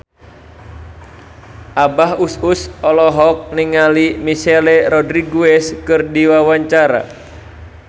Abah Us Us olohok ningali Michelle Rodriguez keur diwawancara